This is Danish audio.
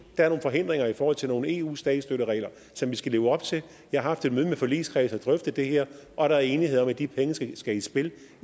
er nogle forhindringer i forhold til nogle eu statsstøtteregler som vi skal leve op til jeg har haft et møde med forligskredsen drøftede det her og der er enighed om at de penge skal skal i spil